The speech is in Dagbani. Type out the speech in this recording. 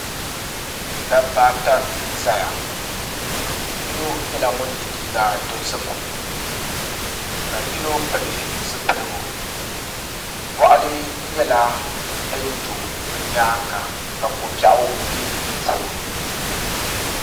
Dabba ata n ʒɛya yino nyɛla ŋun yɛ liiga dozim ka yino pili zipiligu boɣali nyɛla din do bi nyaanga ka ko biɛɣu bɛ di puuni